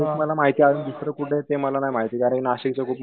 तेच मला माहितीये अजंदुसर कुठलं ते मला नाही माहिती कारण नाशिकचं खूप मोठये